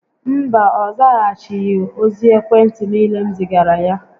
Mba, ọ zaghachighi ozi ekwe ntị niile m zigara ya